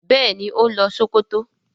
béèni o ń lo Sokoto.